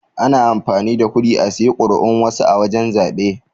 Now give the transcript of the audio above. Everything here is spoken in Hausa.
Ana amfani da kuɗi a saye kuri'un wasu a wajan zabe.